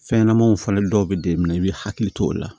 Fɛn ɲɛnɛmaw fɔlen dɔw be d'e ma i be hakili to o la